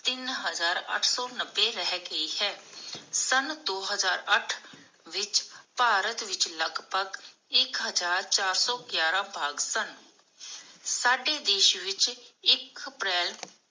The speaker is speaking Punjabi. ਤਿਨ ਹਜਾਰ ਅੱਠ ਸੌ ਨੱਬੇ ਰਹਿ ਗਈ ਹੈ. ਸਨ ਦੋ ਹਜਾਰ ਅੱਠ ਵਿਚ ਭਾਰਤ ਵਿਚ ਲਗਭਗ ਇਕ ਹਜ਼ਾਰ ਚਾਰ ਸੌ ਗਿਆਰਹ ਬਾਘ ਸਨ, ਸਾਡੇ ਦੇਸ਼ ਵਿਚ ਇਕ ਅਪ੍ਰੈਲ